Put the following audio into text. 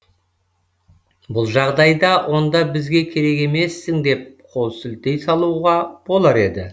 бұл жағдайда онда бізге керек емессің деп қол сілтей салуға болар еді